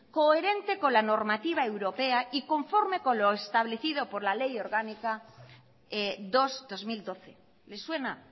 coherente con la normativa europea y conforme con lo establecido por la ley orgánica dos barra dos mil doce le suena